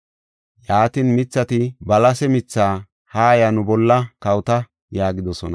“Yaatin, mithati balase mithaa, ‘Haaya, nu bolla kawota’ yaagidosona.